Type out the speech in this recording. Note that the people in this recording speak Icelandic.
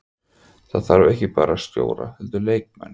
Það þarf ekki bara stjóra heldur leikmenn.